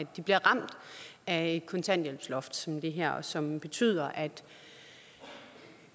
de bliver ramt af et kontanthjælpsloft som det her som betyder at